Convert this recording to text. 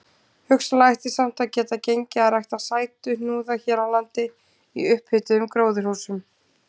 Hugsanlega ætti samt að geta gengið að rækta sætuhnúða hér á landi í upphituðum gróðurhúsum.